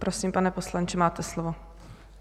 Prosím, pane poslanče, máte slovo.